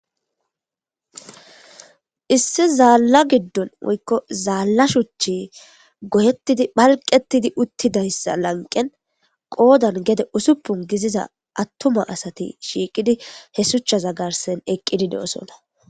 Issi zaalla giddon woykko zaalla shuchi gohettidi phalqettidi uttidayssa lanqen qoodan gede usuppun giziza attuma asati shiiqidi he suchaza garsen eqqidi de'osona.